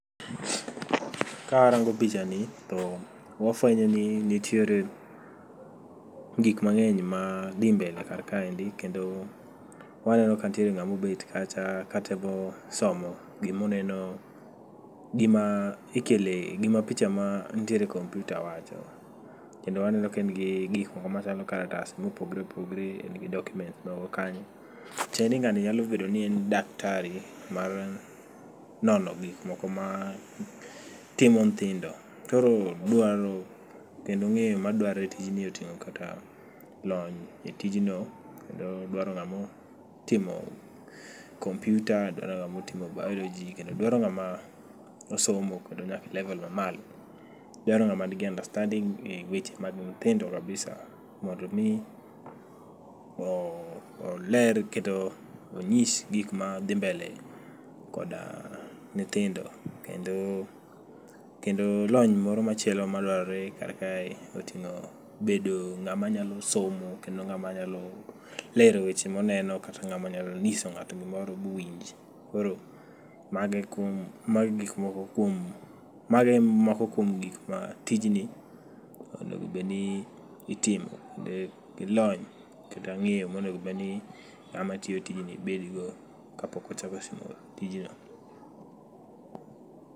Ka arango picha ni to wafwenyo ni nitiere gik mang'eny ma dhi mbele kar kaendi. Kendo waneno ka ntiere ng'amo bet kacha ka temo somo gimuneno gima ikele gima picha ma nitiere e kompyuta wacho. Kendo aneno ka en gi gik moko ma chalo kalatas mopogre opogre, en gi document moko kanyo. Tiende ni ng'ani nyalo bedo ni en daktari mar nono gik moko ma timo nthindo. Koro dwaro kendo ng'eyo madwarore e tijni oting'o kata lony e tijno kendo dwaro ng'amotimo kompyuta, dwaro ng'amotimo Biology. Kendo dwaro ng'amo osomo kendo nyake levol ma malo. Dwaro ng'ama nigi understanding e weche mag nthindo kabisa mondo mi oler kendo onyis gik ma dhi mbele kod nthindo. Kendo, kendo lony moro machielo ma dwarore kar kae oting'o bedo ng'ama nyalo somo kendo ng'ama nyalo lero weche moneno kata ng'ama nyalo ng'iso ng'ato gimoro buwinj. Koro mago e kum, mogo e gik moko kuom, mago e moko kuom gik ma tijni onegobeni itimo gi lony kata ng'eyo monegobedni ng'ama tiyo tijni bedogo kapok ochako tiyo tijno.